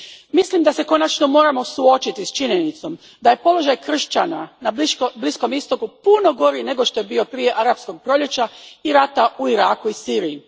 Mislim da se konačno moramo suočiti s činjenicom da je položaj kršćana na Bliskom istoku puno gori nego što je bio prije Arapskog proljeća i rata u Iraku i Siriji.